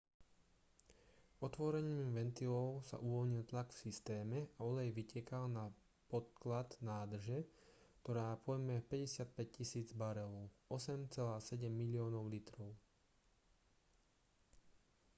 otvorením ventilov sa uvoľnil tlak v systéme a olej vytekal na podklad nádrže ktorá pojme 55 000 barelov 8,7 miliónov litrov